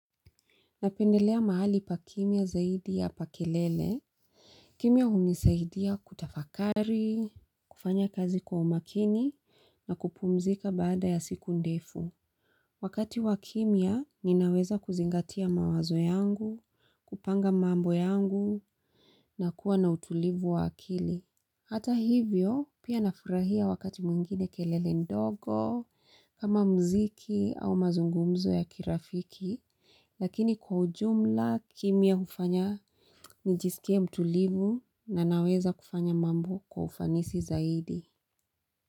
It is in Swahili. Napendelea mahali pa kimya zaidi ya pa kelele. Kimya humisaidia kutafakari, kufanya kazi kwa umakini na kupumzika baada ya siku ndefu. Wakati wakimya ninaweza kuzingatia mawazo yangu, kupanga mambo yangu, na kuwa na utulivu wa akili. Hata hivyo, pia nafurahia wakati mwingine kelele ndogo kama mziki au mazungumzo ya kirafiki. Lakini kwa ujumla kimya kufanya nijisikie mtulivu na naweza kufanya mambo kwa ufanisi zaidi.